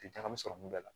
Tɛ taga min sɔrɔ mun bɛ la